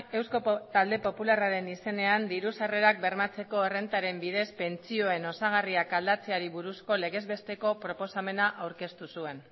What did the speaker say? eusko talde popularraren izenean diru sarrerak bermatzeko errentaren bidez pentsioen osagarriak aldatzeari buruzko legez besteko proposamena aurkeztu zuen